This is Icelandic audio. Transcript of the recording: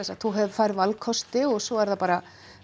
þú færð valkosti og svo er það bara